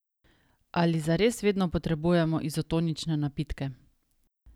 Ali zares vedno potrebujemo izotonične napitke?